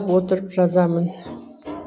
отырып жазамын